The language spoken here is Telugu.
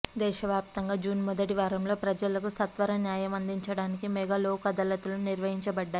దేశవ్యాప్తంగా జూన్ మొదటి వారంలో ప్రజలకు సత్వర న్యాయం అందించడానికి మెగా లోక్ అదాలత్లు నిర్వహించబడ్డాయి